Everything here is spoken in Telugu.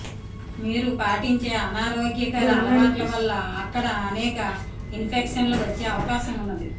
మీరు పాటించే అనారోగ్యకర అలవాట్ల వల్ల అక్కడ అనేక ఇన్ఫెక్షన్లు వచ్చే అవకాశం ఉన్నది